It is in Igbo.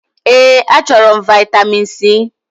Èé, achọrọ m vị́tamin C.